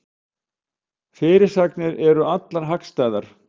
Fyrirsagnir eru allar hagstæðar